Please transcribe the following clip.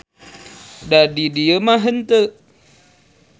Da di dieu mah henteu.